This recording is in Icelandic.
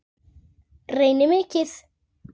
Reyni mikið.